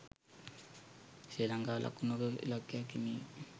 ශ්‍රී ලංකාවට ලකුණු ක ඉලක්කයක් හිමිවිය